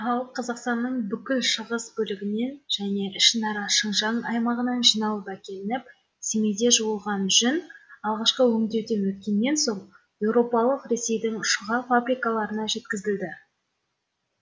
ал қазақстанның бүкіл шығыс бөлігінен және ішінара шыңжаң аймағынан жиналып әкелініп семейде жуылған жүн алғашқы өңдеуден өткеннен соң еуропалық ресейдің шұға фабрикаларына жеткізілді